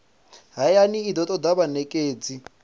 hayani i do toda vhanekedzi